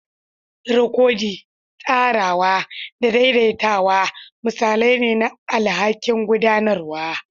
Rikodi, tsarawa, da daidaitawa misalai ne na alhakin gudanarwa.